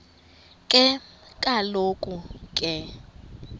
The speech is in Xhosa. ke kaloku ke